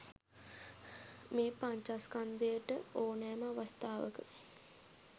මේ පඤ්චස්කන්ධයට ඕනෑම අවස්ථාවක